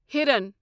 ہیران